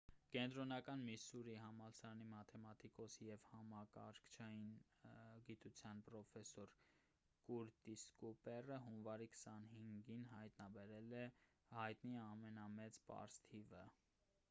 կենտրոնական միսսուրիի համալսարանի մաթեմատիկոս և համակարգչային գիտության պրոֆեսոր կուրտիս կուպերը հունվարի 25-ին հայտնաբերել է հայտնի ամենամեծ պարզ թիվը